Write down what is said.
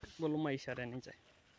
kegol maisha teninje